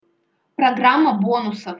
программа бонусов